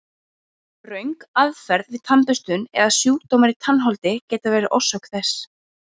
Röng aðferð við tannburstun eða sjúkdómar í tannholdi geta verið orsök þess.